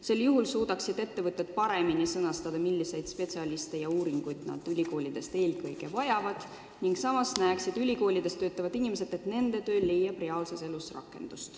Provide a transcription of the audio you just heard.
Sel juhul suudaksid ettevõtted selgemini öelda, milliseid spetsialiste ja uuringuid nad ülikoolidelt eelkõige vajavad, ülikoolides töötavad inimesed aga näeksid, et nende töö leiab reaalses elus rakendust.